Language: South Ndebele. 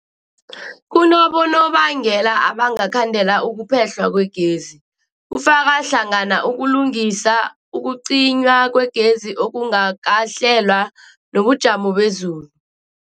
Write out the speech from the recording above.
Kunabonobangela abangakhandela ukuphehlwa kwegezi, kufaka hlangana ukulungisa, ukucinywa kwegezi okungakahlelwa, nobujamo bezulu.